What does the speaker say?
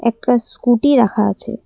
একটা স্কুটি রাখা আছে ।